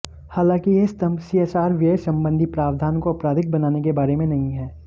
हालांकि यह स्तंभ सीएसआर व्यय संबंधी प्रावधान को आपराधिक बनाने के बारे में नहीं है